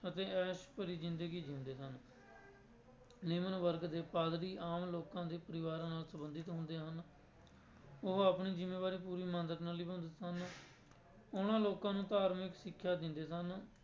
ਅਤੇ ਐਸ਼ ਭਰੀ ਜ਼ਿੰਦਗੀ ਜਿਉਂਦੇ ਸਨ ਨਿਮਨ ਵਰਗ ਦੇ ਪਾਧਰੀ ਆਮ ਲੋਕਾਂ ਦੇ ਪਰਿਵਾਰਾਂ ਨਾਲ ਸੰਬੰਧਿਤ ਹੁੰਦੇ ਹਨ ਉਹ ਆਪਣੀ ਜ਼ਿੰਮੇਦਾਰੀ ਪੂਰੀ ਇਮਾਨਦਾਰੀ ਨਾਲ ਨਿਭਾਉਂਦੇ ਸਨ, ਉਹਨਾਂ ਲੋਕਾਂ ਨੂੰ ਧਾਰਮਿਕ ਸਿੱਖਿਆ ਦਿੰਦੇ ਸਨ।